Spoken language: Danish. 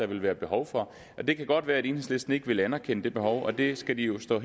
vil være behov for det kan godt være at enhedslisten ikke vil anerkende det behov og det skal jo stå